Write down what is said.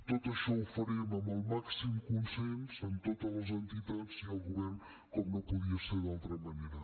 tot això ho farem amb el màxim consens amb totes les entitats i el govern com no podia ser d’altra manera